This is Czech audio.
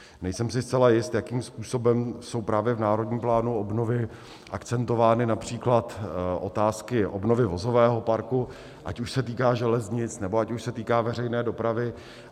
Nejsem si zcela jist, jakým způsobem jsou právě v Národním plánu obnovy akcentovány například otázky obnovy vozového parku, ať už se týká železnic, nebo ať už se týká veřejné dopravy.